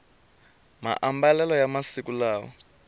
maambalelo ya masiku lawa